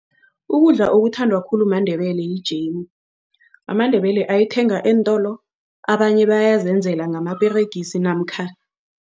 Ukudla okuthandwa khulu maNdebele yijemu. AmaNdebele ayithenga eentolo abanye bayazenzela ngamaperegisi namkha